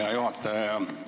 Hea juhataja!